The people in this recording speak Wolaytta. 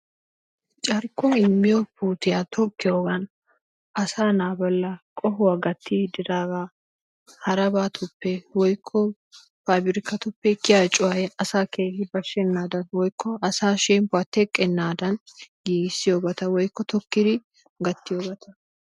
carkkuwa immiya puuttiya tokkiyoogan asaa naa bollan qohuwa gatiidi diididaga harabatuppe woykko paabirkatuppe kiyiya cuway asaa keehi bashenaadan woykko asaa shemppuwaa teqqenaadan giigissiyobata woykko tokkidi gattiyoobata,